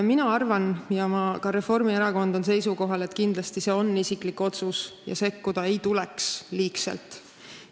Mina arvan ja ka Reformierakond on seisukohal, et kindlasti on see isiklik otsus, millesse ei tuleks liigselt sekkuda.